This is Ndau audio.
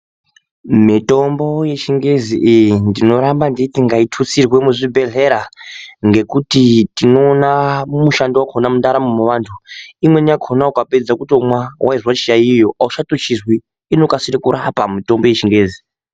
Mitombo yechingezi iyi ndinoramba ndechiti ngaitutsirwe muzvibhedhlera ngekuti tinoona mushando wakhona mundaramo yevantu. Imweni yakhona ukapedza kutomwa, weizwe chiyaiyo auchatochizwi inokasire kurapa mitombo yechingezi.